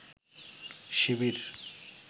শিবির